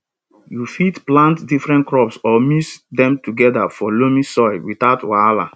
you fit plant different crops or mix dem together for loamy soil without wahala